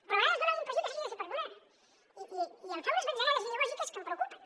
però a vegades dona la impressió que s’hagi de fer perdonar i em fa unes batzegades ideològiques que em preocupen